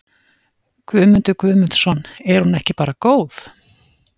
Guðmundur Guðmundsson: Er hún ekki bara góð?